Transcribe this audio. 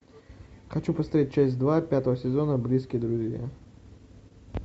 хочу поставить часть два пятого сезона близкие друзья